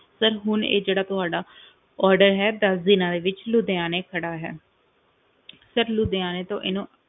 Sir ਹੁਣ ਇਹ ਜਿਹੜਾ ਤੁਹਾਡਾ order ਹੈ ਦਸ ਦਿਨਾਂ ਦੇ ਵਿੱਚ ਲੁਧਿਆਣੇ ਖੜਾ ਹੈ sir ਲੁਧਿਆਣੇ ਤੋਂ ਇਹਨੂੰ